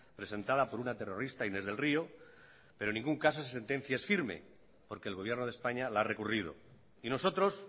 presentada por una terrorista inés del río pero en ningún caso esa sentencia es firme porque el gobierno de españa la ha recurrido y nosotros